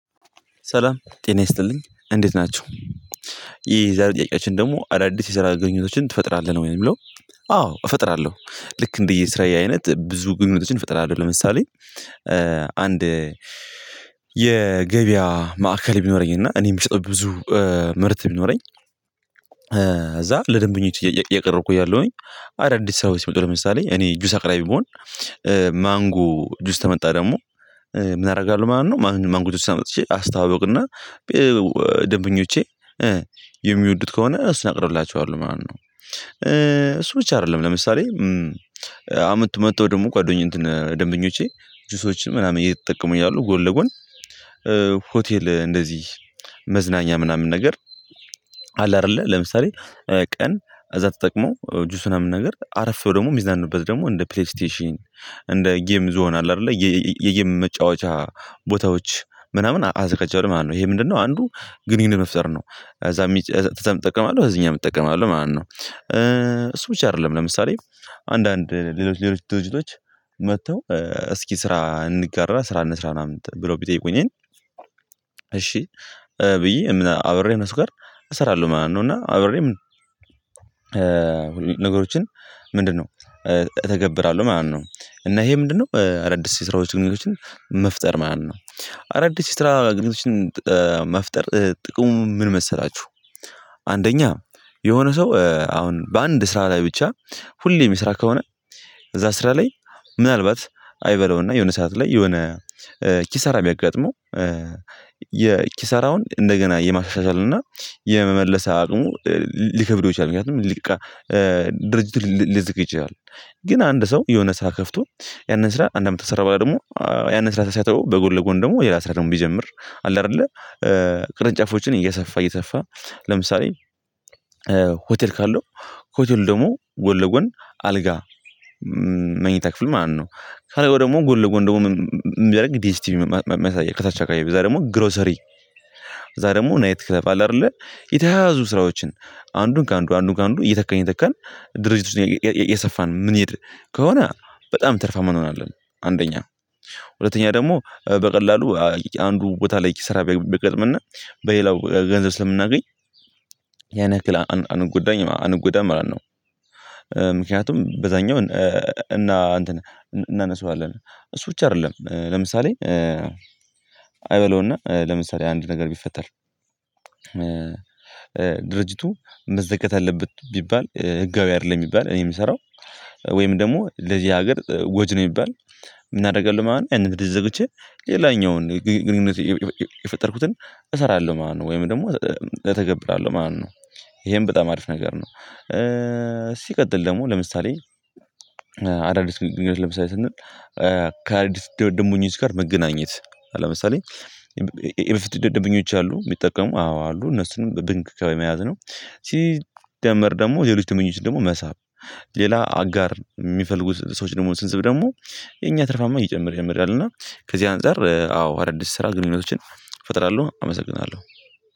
ሰላም ጤና ይስጥልኝ እንዴት ናቸው? የዛሬ ጥያቄያችን ደግሞ አዳዲስ የሰራ ግንኙነቶችን ትፈጥራለህ ነው ወይም ብለው አዎ እፈጥራለሁ ልክ እንደየስራዬ አይነት ብዙ ግንኙነቶችን እፈጥራለሁ ለምሳሌ አንድ የገበያ ማዕከል ቢኖረኝ እና እኔም የሚሰጠው ብዙ ምርት ቢኖረኝ እዛ ለደንበኞች እያቀረብኩ እያለሁኝ አዳዲስ ስራ ወይስ ይመጡ ለምሳሌ እኔ ጁስ አቅራቢ ቢሆን ማንጎ ጁስ ተመጣ ደግሞ ምን አደርጋለሁ ማለት ነው ማንጎ ጁስ ሰምጥቼ አስታውቅና ደንበኞቼ የሚወዱት ከሆነ እስነቅርላቸዋለሁ ማለት ነው። እሱ ብቻ አይደለም ለምሳሌ አመት መጥተው ደግሞ ጓደኝ እንትን ደንበኞቼ ጁሶችን ምናምን እየተጠቀሙ ያሉ ጎን ለጎን ሆቴል እንደዚህ መዝናኛ ምናምን ነገር አለ አይደለ ለምሳሌ ቀን እዛ ተጠቅሞ ጁሱን ምናምን ነገር አረፍ ብሎ ደግሞ የሚዛንበት ደግሞ እንደ ፕሌይስቴሽን እንደ ጌም ዞን አለ አይደለ የጌም መጫወቻ ቦታዎች ምናምን አዘጋጃለሁ ማለት ነው። ይሄ ምንድነው አንዱ ግንኙነት መፍጠር ነው እዛ እጠቀማለሁ እዚህኛዉም እጠቀማለሁ ማለት ነው። እሱ ብቻ አይደለም ለምሳሌ አንዳንድ ሌሎች ሌሎች ድሪጅቶች መጥተው እስኪ ስራ እንጋራ ስራ እንስራ ምናምን ብሎ ቢጠይቁኝን እሺ ብዬ አብሬ እነሱ ጋር እሰራለሁ ማለት ነው። እና አብሬ ምን ነገሮችን ምንድነው? እተገብራለሁ ማለት ነው እና ይሄ ምንድነው አዳዲስ ስራዎችን ግንኙነቶችን መፍጠር ማለት ነው። አዳዲስ ስራ ግንኙነቶችን መፍጠር ጥቅሙ ምን መሰላችሁ አንደኛ የሆነ ሰው አሁን በአንድ ስራ ላይ ብቻ ሁሌም የሚስራ ከሆነ እዛ ስራ ላይ ምናልባት አይበለውና የሆነ ሰዓት ላይ የሆነ ኪሳራ ቢያጋጥመው የኪሳራውን እንደገና የማሻሻልና የመመለስ አቅሙ ሊከብደው ይችላል ምክንያቱም ሊቃ ድርጅት ልያዘጋ ይችላል። ግን አንድ ሰው የሆነ ስራ ከፍቶ ያንን ስራ አንድ አመት ተሰራ በላይ ደግሞ ያንን ስራ ተሳተው በጎን ለጎን ደግሞ የላስራ ደግሞ ቢጀምር አለ አይደለ ቅርንጫፎችን እየሰፋ እየሰፋ ለምሳሌ ሆቴል ካለው ሆቴል ደግሞ ጎል ለጎን አልጋ መኝታ ክፍል ማለት ነው። ከላይ ወደሞ ጎል ለጎን ደግሞ የሚያደርግ ዲስቲቪ ቲቪ የሚያሳየው ከታች አካባቢ እዛ ደግሞ ግሮሰሪ እዛ ደግሞ ናይት ክለብ አለ አይደለ የተያያዙ ስራዎችን አንዱን ከአንዱ አንዱን ከአንዱ እየተካን እየተካን ድርጅት ውስጥ የሰፋን የምንሄድ ከሆነ በጣም ትርፋማ አንሆናለን። አለብን አንደኛ ሁለተኛ ደግሞ በቀላሉ አንዱ ቦታ ላይ ኪሰራ ቢገጥምና በሌላው ገንዘብ ስለምናገኝ ያኔያክል አንጎዳኝ አንጎዳም ማለት ነው። ምክንያቱም በዛኛው እና እናነሳዋለን እሱ ብቻ አይደለም ለምሳሌ አይበለውና ለምሳሌ አንድ ነገር ቢፈጠር ድርጅቱ መዘጋት አለበት ቢባል ህጋዊ አይደለም ቢባል እኔ የምሰራው ወይም ደግሞ ለዚህ ሀገር ጎጂ ነህ የሚባል ምንአረጋለው ማለት ነው ያንን አድል ዘግቼ ሌላኛውን ግንኙነት የፈጠርኩትን እሰራለው ማለት ነው ወይም ደግሞ እተገብራለሁ ማለት ነው። ይሄን በጣም አሪፍ ነገር ነው። ሲቀጥል ደግሞ ለምሳሌ አዳዲስ ህይወት ለምሳሌ ስንል ከአዳዲስ ደምበኞች ጋር መገናኘት ለምሳሌ የበፊት ደምበኞች አሉ የሚጠቀሙ አዎ አሉ እነሱንም በብንክ ከያዝነው ሲደመር ደግሞ የልጅ ተመኞች ደግሞ መሳብ ሌላ አጋር የሚፈልጉ ሰዎች ደግሞ ስንስብ ደግሞ የኛ ትርፋማ እየጨመር አየጨመረ ይሄዳል አና ከዚህ አንፃር አዎ አዳዲስ ስራ ግንኙነቶችን እፈጥራለው አመሰግናለው።